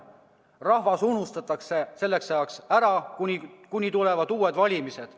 Rahvas unustatakse ära, kuni tulevad uued valimised.